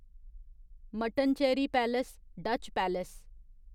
Mattancherry palace Dutch palace